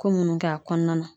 Ko munnu kɛ a kɔnɔna na.